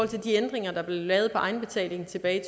til de ændringer der blev lavet af egenbetalingen tilbage i